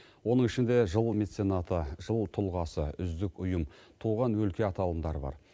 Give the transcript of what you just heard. оның ішінде жыл меценаты жыл тұлғасы үздік ұйым туған өлке аталымдары бар